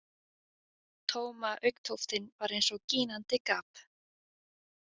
Tóma augntóftin var eins og gínandi gap.